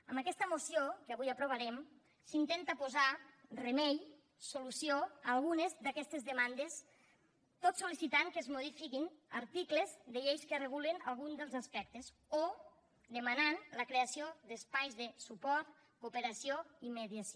amb aquesta moció que avui aprovarem s’intenta posar remei solució a algunes d’aquestes demandes tot sol·licitant que es modifiquin articles de lleis que regulen algun dels aspectes o demanant la creació d’espais de suport cooperació i mediació